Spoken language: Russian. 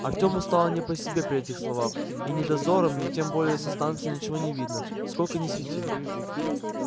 артёму стало не по себе при этих словах и ни дозорам ни тем более со станции ничего не видно сколько ни свети